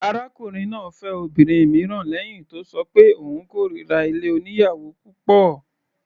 Arákùnrin náà fẹ́ obìnrin mìíràn lẹ́hìn tó ṣọ pé òun kórira ilé oníyàwò púpọ̀.